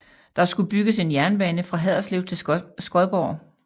Der skulle bygges en jernbane fra Haderslev til Skodborg